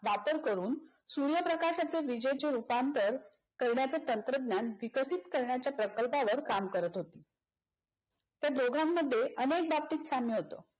वापर करून सूर्यप्रकाशच्या विजेचे रूपांतर करण्याचे तंत्रज्ञान विकसित करण्याच्या प्रकल्पावर काम करत होते. त्या दोघांमध्ये अनेक बाबतीत साम्य होत.